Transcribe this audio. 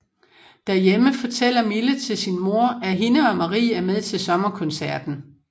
Derhjemme fortæller Mille til sin mor at hende og Marie er med til Sommerkoncerten